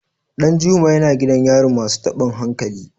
Danjuma yana gidan yarin masu tabin hankali.